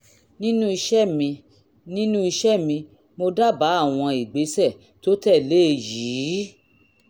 nínú iṣẹ́ mi nínú iṣẹ́ mi mo dábàá àwọn ìgbésẹ̀ tó tẹ̀lé e yìí